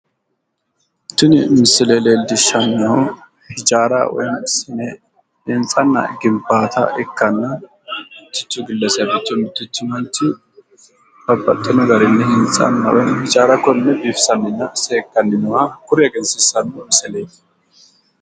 Tini misile leellishanohu Hijaara ikkanna kuni albaani hige uure no ha'lanyi kone hijaara minanoha ikkasi xawisano